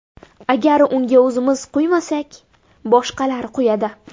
Agar unga o‘zimiz quymasak, boshqalar quyadi.